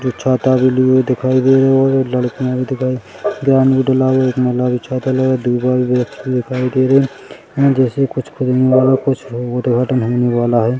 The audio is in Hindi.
जो छाता लिए दिखाई दे रहे है और लड़कियाँ भी दिखाई दे रही है लाल -लाल छाता लेवे दूसरा भी व्यक्ति दिखाई दे रहे है जैसे कुछ खुदने वाला कुछ उद्घाटन होने वाला हैं।